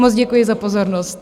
Moc děkuji za pozornost.